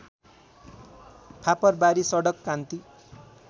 फापरवारी सडक कान्ती